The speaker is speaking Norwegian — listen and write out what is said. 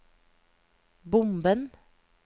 bomben